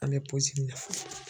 An bɛ mɛnɛ fɔlɔ.